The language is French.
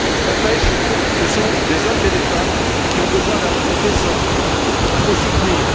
La pêche, ce sont des hommes et des femmes qui ont besoin d'un revenu décent, qu'il faut soutenir.